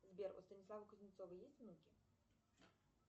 сбер у станислава кузнецова есть внуки